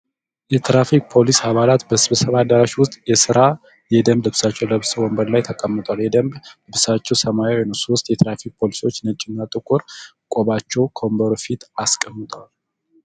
የትራፊክ የፖሊስ አባላት በስብሰባ አዳራሽ ዉስጥ የስራ የደንብ ልብሳቸዉን ለብሰዉ ወንበር ላይ ተቀምጠዋል። የደንብ ልብሳቸዉ ሰማያዊ ነዉ። ሦስት የትራፊክ ፖሊሶች ነጭና ጥቁር ቆባቸዉን ከወንበሩ ፊት አስቀምጠዋል።